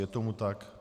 Je tomu tak?